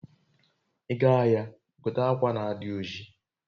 iga ahia, gote akwa na adi oji